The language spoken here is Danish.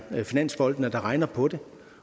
finansfolkene der regner på det